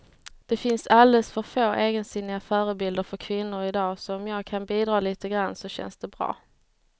Det finns alldeles för få egensinniga förebilder för kvinnor i dag, så om jag kan bidra lite grann så känns det bra.